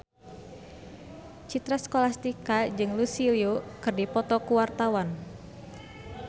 Citra Scholastika jeung Lucy Liu keur dipoto ku wartawan